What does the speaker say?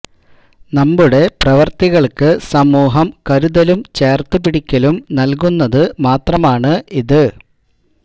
നമ്മുടെ പ്രവര്ത്തികള്ക്ക് സമൂഹം കരുതലും ചേര്ത്ത് പിടിക്കലും നല്കുന്നത് മാത്രമാണ് ഇത്